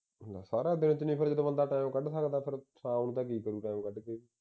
ਸਾਰਾ ਦਿਨ ਕਿੰਨੇ ਕਿ ਵੇਲੇ ਵਿਚ ਬੰਦਾ ਟਾਈਮ ਕੱਢ ਸਕਦਾ ਪਰ ਸ਼ਾਮ ਨੂੰ ਕੀ ਕਰੂ ਟਾਇਮ ਕੱਢ ਕੇ